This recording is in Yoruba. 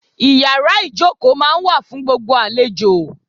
Ìyàrá ìjókòó máa ń wà fún gbígba àlejò.